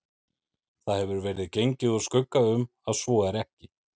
Það hefur verið gengið úr skugga um, að svo er ekki